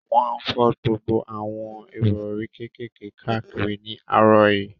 Wọ́n fọ́n gbogbo àwọn ìrọ̀rí kékèké káàkiri ní àárọ̀ yìí